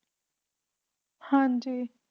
ਹਾਂ ਜੀ